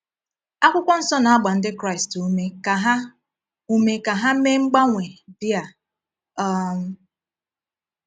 Akwụkwọ Nsọ na-agba Ndị Kraịst ume ka ha ume ka ha mee mgbanwe dị a? um